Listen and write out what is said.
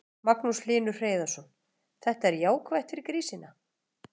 Magnús Hlynur Hreiðarsson: Þetta er jákvætt fyrir grísina?